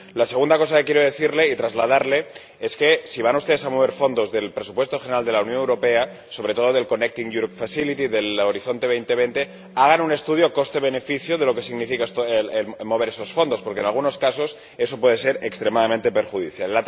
La segunda cosa que quiero decirle y trasladarle es que, si van ustedes a mover fondos del presupuesto general de la Unión Europea, sobre todo del Mecanismo Conectar Europa, del Horizonte 2020, hagan un estudio coste beneficio de lo que significa mover esos fondos, porque, en algunos casos, eso puede ser extremadamente perjudicial.